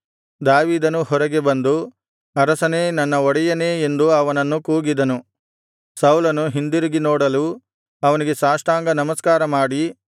ದಾವೀದನೂ ಹೊರಗೆ ಬಂದು ಅರಸನೇ ನನ್ನ ಒಡೆಯನೇ ಎಂದು ಅವನನ್ನು ಕೂಗಿದನು ಸೌಲನು ಹಿಂದಿರುಗಿ ನೋಡಲು ಅವನಿಗೆ ಸಾಷ್ಟಾಂಗ ನಮಸ್ಕಾರ ಮಾಡಿ